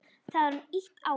Það var ýtt á hann.